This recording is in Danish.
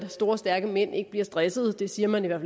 store stærke mænd ikke bliver stressede det siger man i hvert